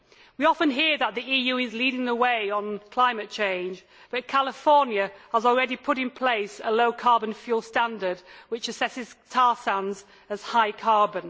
We often hear that the EU is leading the way on climate change, but California has already put in place a low carbon fuel standard which assesses tar sands as high carbon.